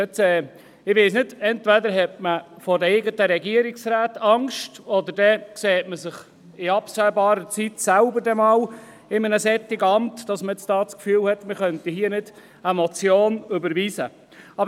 Ich weiss nicht, ob man entweder vor den eigenen Regierungsräten Angst hat oder ob man sich in absehbarer Zeit selber in einem solchen Amt sieht, weswegen man das Gefühl hat, hier keine Motion überweisen zu können.